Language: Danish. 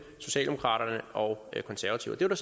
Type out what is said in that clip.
socialdemokraterne og konservative og der